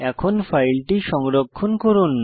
এখন ফাইলটি সংরক্ষণ করুন